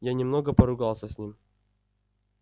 я немного поругался с ним